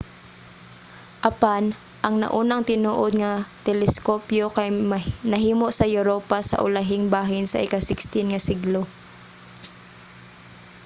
apan ang naunang tinuod nga mga teleskopyo kay nahimo sa europa sa ulahing bahin sa ika-16 nga siglo